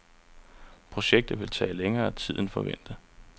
Projektet vil tage længere tid end forventet.